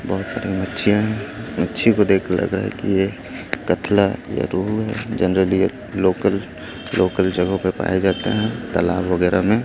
बहुत बड़ी मच्छीयां हैं मच्छी को देख लग रहा है कि ये कतला या रूहु है जनरली यह लोकल लोकल जगहों पे पाया जाता है तालाब वगैरह में।